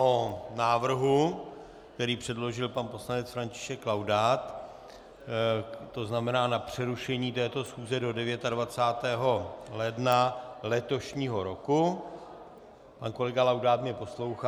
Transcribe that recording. O návrhu, který předložil pan poslanec František Laudát, to znamená na přerušení této schůze do 29. ledna letošního roku - pan kolega Laudát mě poslouchá.